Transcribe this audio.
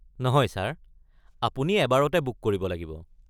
নহয় ছাৰ, আপুনি এবাৰতে বুক কৰিব লাগিব।